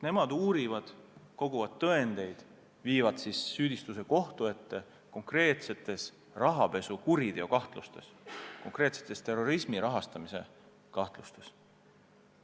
Nemad uurivad, koguvad tõendeid, viivad kohtusse süüdistused konkreetsetes rahapesukuritegudes, konkreetsetes terrorismi rahastamise süütegudes.